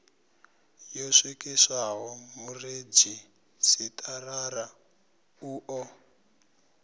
yo swikiswaho muredzhisitarara u ḓo